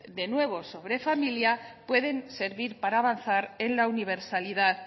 de nuevo sobre familia pueden servir para avanzar en la universalidad